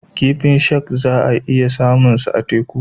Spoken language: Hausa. Kifin shak za a iya samunsa a teku.